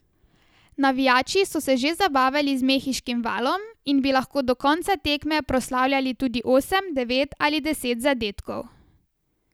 Navijači so se že zabavali z mehiškim valom in bi lahko do konca tekme proslavljali tudi osem, devet ali deset zadetkov.